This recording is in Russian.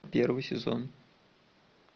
первый сезон